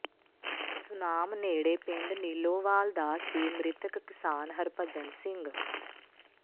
ਸੁਨਾਮ ਨੇੜਲੇ ਪਿੰਡ ਨੀਲੋਵਾਲ ਦਾ ਸੀ ਮ੍ਰਿਤਕ ਕਿਸਾਨ ਹਰਭਜਨ ਸਿੰਘ